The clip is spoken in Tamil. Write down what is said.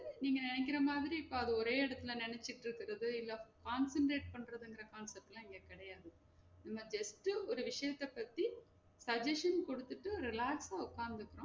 நீங்க நெனைக்கிற மாதிரி இப்ப அத ஒரே எடத்துல நெனச்சிட்டு இருக்குறது இத concentrate பண்ற இந்த concept லா இங்க கெடையாது நம்ம just ஒரு விஷியத்த பத்தி suggesstion குடுத்துட்டு relex ஆ உக்காந்து